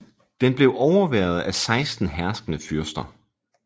Den blev overværet af 16 herskende fyrster